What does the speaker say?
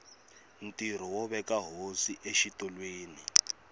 ntirho wo veka hosi exitulwini